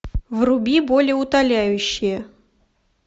вруби болеутоляющее